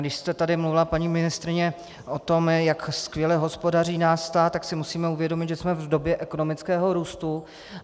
Když jste tady mluvila, paní ministryně, o tom, jak skvěle hospodaří náš stát, tak si musíme uvědomit, že jsme v době ekonomického růstu.